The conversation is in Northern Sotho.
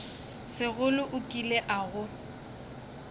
sekgole o kile a go